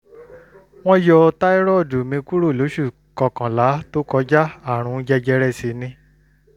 wọ́n yọ táírọ́ọ̀dù mi kúrò lóṣù kọkànlá tó kọjá àrùn jẹjẹrẹ sì ni